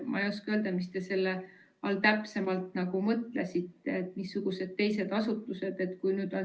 Ma ei oska öelda, mis te selle all täpsemalt mõtlesite, missugused teised asutused?